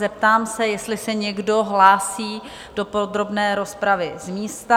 Zeptám se, jestli se někdo hlásí do podrobné rozpravy z místa?